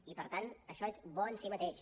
i per tant això és bo en si mateix